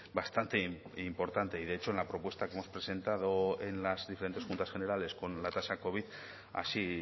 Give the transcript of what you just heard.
bastante importante y de hecho en la propuesta que hemos presentado en las diferentes juntas generales con la tasa covid así